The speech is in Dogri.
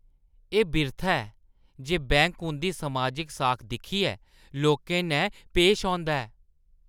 एह् बिरथा ऐ जे बैंक उंʼदी समाजिक साख दिक्खियै लोकें नै पैश औंदा ऐ।